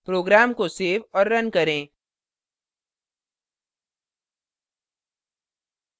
program को save और run करें